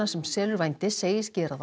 sem selur vændi segist gera